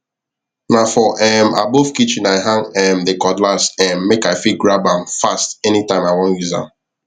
na for um above kitchen i hang um the cutlass um make i fit grab am fast anytime i wan use am